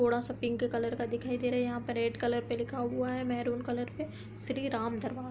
थोड़ा सा pink colour का दिखाई दे रहा है यहाँ पर रेड कलर पे लिखा हुआ है मैंरून कलर पे श्री राम दरबार।